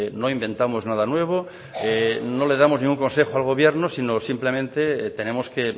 no inventamos nada nuevo no le damos ningún consejo al gobierno sino simplemente tenemos que